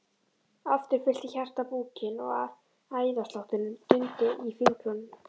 Aftur fyllti hjartað búkinn og æðaslátturinn dundi í fingrunum.